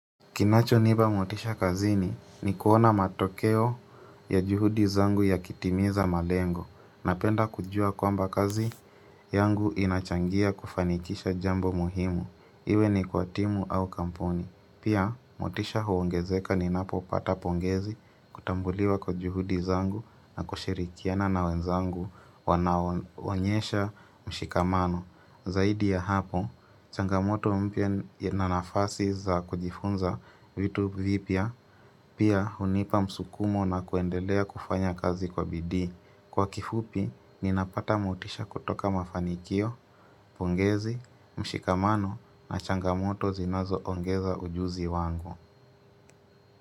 Kinachonipa motisha kazini ni kuona matokeo ya juhudi zangu yakitimiza malengo napenda kujua kwamba kazi yangu inachangia kufanikisha jambo muhimu iwe ni kwa timu au kampuni Pia, motisha huongezeka ninapo pata pongezi kutambuliwa kwa juhudi zangu na kushirikiana na wenzangu wanaonyesha mshikamano Zaidi ya hapo, changamoto mpya na nafasi za kujifunza vitu vipya pia hunipa msukumo na kuendelea kufanya kazi kwa bidii. Kwa kifupi, ninapata motisha kutoka mafanikio, pongezi, mshikamano na changamoto zinazoongeza ujuzi wangu.